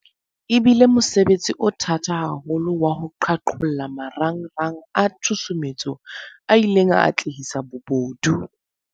E bile mosebetsi o thata haholo wa ho qhaqholla marangrang a tshusumetso a ileng a atlehisa bobodu.